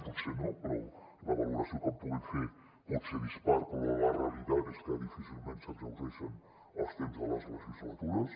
potser no però la valoració que en puguin fer pot ser dispar però la realitat és que difícilment s’exhaureixen els temps de les legislatures